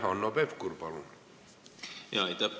Hanno Pevkur, palun!